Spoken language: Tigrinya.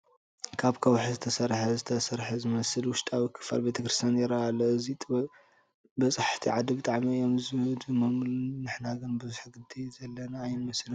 ካብ ከውሒ ዝተሰርሐ ዝተሰርሐ ዝመስል ውሽጣዊ ክፋል ቤተ ክርስቲያን ይርአ ኣሎ፡፡ እዚ ጥበብ በፃሕቲ ዓዲ ብጣዕሚ እዮም ዝድመምሉ፡፡ ንሕና ግን ብዙሕ ግዲ ዘለና ኣይንመስልን፡፡